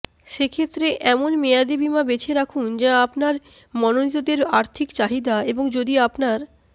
সেক্ষেত্রে এমন মেয়াদী বিমা বেছে রাখুন যা আপনার মনোনীতদের আর্থিক চাহিদা এবং যদি আপনার